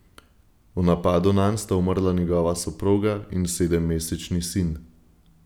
V napadu nanj sta umrla njegova soproga in sedemmesečni sin.